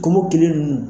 Kɔmɔkili ninnu